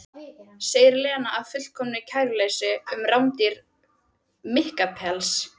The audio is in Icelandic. segir Lena af fullkomnu kæruleysi um rándýran minkapels.